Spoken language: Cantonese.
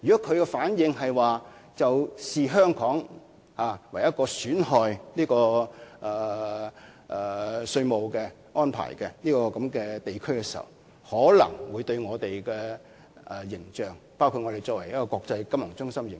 倘若其視香港為設有損害性稅務措施的地區，這便可能會損害我們的形象，包括國際金融中心的形象。